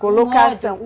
Colocação.